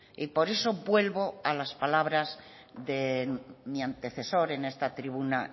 y por eso vuelvo a las palabras de mi antecesor en esta tribuna